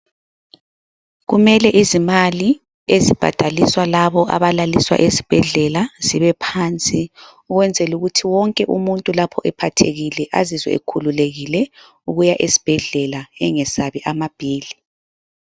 Kumele izimali ezibhadaliswa labo abalaliswa ezibhedlela zibe phansi ukwenzela ukuthi umuntu lapho ephathekile azizwe ekhululekile ukuya esibhedlela engesabi amabhili.